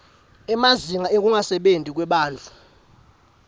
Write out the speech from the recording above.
emazinga ekungasebenti kwebantfu